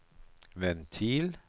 ventil